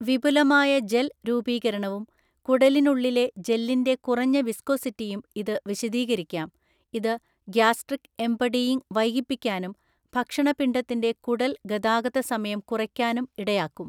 വിപുലമായ ജെൽ രൂപീകരണവും കുടലിനുള്ളിലെ ജെല്ലിന്റെ കുറഞ്ഞ വിസ്കോസിറ്റിയും ഇത് വിശദീകരിക്കാം, ഇത് ഗ്യാസ്ട്രിക് ഏംപടിയിങ് വൈകിപ്പിക്കാനും ഭക്ഷണ പിണ്ഡത്തിന്റെ കുടൽ ഗതാഗത സമയം കുറയ്ക്കാനും ഇടയാക്കും.